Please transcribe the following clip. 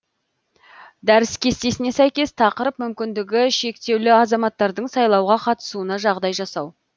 дәріс кестесіне сәйкес тақырып мүмкіндігі шектеулі азаматтардың сайлауға қатысуына жағдай жасау